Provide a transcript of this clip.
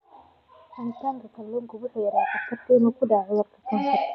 Cunista kalluunka waxay yaraynaysaa khatarta ah inuu ku dhaco kansarka.